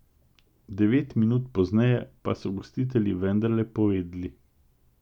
Devet minut pozneje pa so gostitelji vendarle povedli.